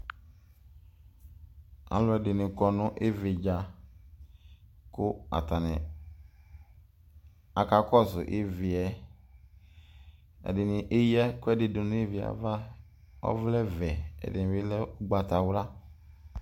Alʋ ɛdɩnɩ kɔ nʋ ɩvɩ dza, kʋ ak kɔsʋ ɩvɩɛƐdɩnɩ eyǝ ɛkʋɛdɩ dʋ nʋ ɩvɩɛ ava, ɔvlɛ vɛ ,ɛdɩnɩ ʋgbatawla